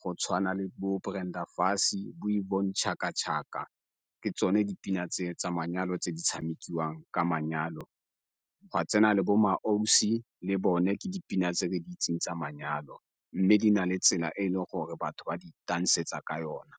go tshwana le bo Brenda Fassie, bo Yvonne Chaka Chaka ke tsone dipina tse tsa manyalo tse di tshamikiwang ka manyalo gwa tsena le bo MmaAusi le bone ke dipina tse ke di itseng tsa manyalo. Mme di na le tsela e e leng gore batho ba di tansetsa ka yona.